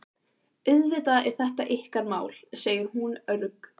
Auðvitað er þetta ykkar mál, segir hún örg.